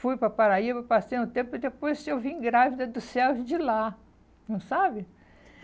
Fui para Paraíba, passei um tempo e depois eu vim grávida do céu de lá, não sabe?